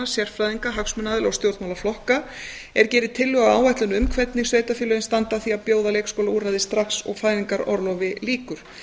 sérfræðinga hagsmunaaðila og stjórnmálaflokka er geri tillögu að áætlun um hvernig sveitarfélögin standi að því að bjóða leikskólaúrræði strax og fæðingarorlofi lýkur